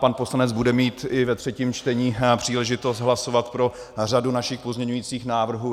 Pan poslanec bude mít i ve třetím čtení příležitost hlasovat pro řadu našich pozměňujících návrhů.